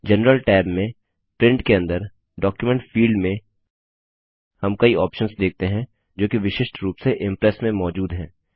general tab में Print के अंदर डॉक्यूमेंट फिल्ड में हम कई ऑप्शंस देखते हैं जो की विशिष्ट रूप से इम्प्रेस में मौजूद है